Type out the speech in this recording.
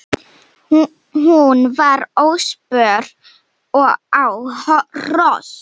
Hún var óspör á hrós.